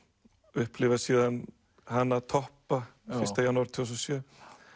upplifa síðan hana toppa fyrsta janúar tvö þúsund og sjö